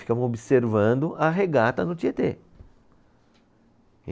Ficavam observando a regata do Tietê.